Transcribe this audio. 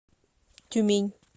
тюмень